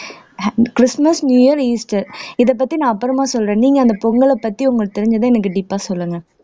Christmas new year Easter இதப்பத்தி நான் அப்புறமா சொல்றேன் நீங்க அந்த பொங்கல பத்தி உங்களுக்கு தெரிஞ்சதும் எனக்கு deep பா சொல்லுங்க